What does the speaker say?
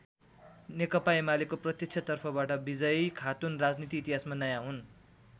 नेकपा एमालेको प्रत्यक्ष तर्फबाट विजयी खातुन राजनीति इतिहासमा नयाँ हुन्।